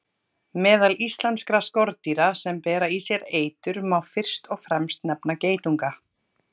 Meðal íslenskra skordýra sem bera í sér eitur má fyrst og fremst nefna geitunga.